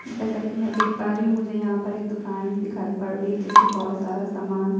जैसा कि मैं देख पा रही हूं मुझे यहां पर एक दुकान दिखाई पड़ रही है जिसमें बहोत सारा सामान --